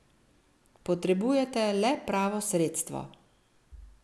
Potrebujete le pravo sredstvo.